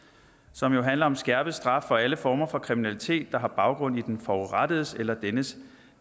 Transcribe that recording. som jo handler om skærpet straf for alle former for kriminalitet der har baggrund i den forurettedes eller dennes